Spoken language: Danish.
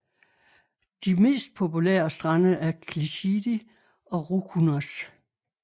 De mest populære strande er Klisidi og Roukounas